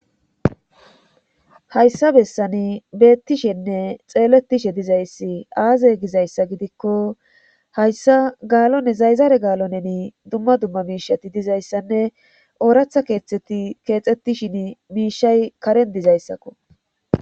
hayssa bessani beettishenne xeeletishe dizayssi aaze gizayssa gidikko hayssa gaalone zayzaare gaalo neni dumma dumma miishati dizayssanne ooratha keexxettishin miishay karen dizayssakko